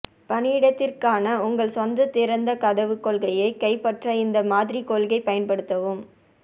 பணியிடத்திற்கான உங்கள் சொந்த திறந்த கதவுக் கொள்கையை கைப்பற்ற இந்த மாதிரி கொள்கை பயன்படுத்தவும்